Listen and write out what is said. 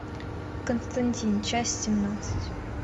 константин часть семнадцать